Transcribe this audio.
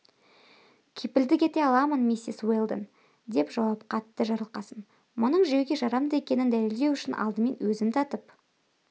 кепілдік ете аламын миссис уэлдон деп жауап қатты жарылқасын мұның жеуге жарамды екенін дәлелдеу үшін алдымен өзім татып